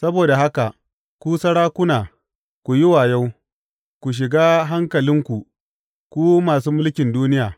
Saboda haka, ku sarakuna, ku yi wayo; ku shiga hankalinku, ku masu mulkin duniya.